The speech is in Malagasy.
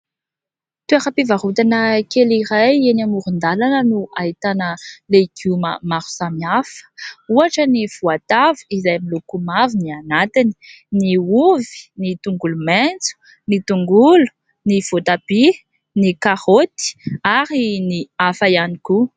Toera-pivarotana kely iray eny amoron-dalana no ahitana legioma maro samihafa. Ohatra ny voatavo izay miloko mavo ny anatiny, ny ovy, ny tongolo maintso, ny tongolo, ny voatabia, ny karaoty ary ny hafa ihany koa.